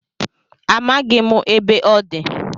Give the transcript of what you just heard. Amaghị m ebe ọ dị